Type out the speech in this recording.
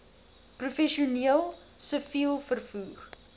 professioneel siviel vervoer